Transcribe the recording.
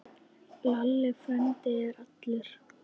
Lalli frændi er allur.